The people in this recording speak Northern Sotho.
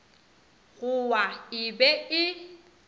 go wa e be e